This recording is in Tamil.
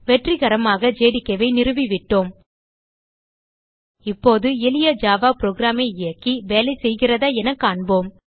வெற்றிகரமாக ஜேடிகே ஐ நிறுவி விட்டோம் இப்போது எளிய ஜாவா புரோகிராம் இயக்கி வேலைசெய்கிறதா என காண்போம்